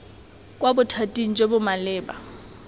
kwa bothating jo bo maleba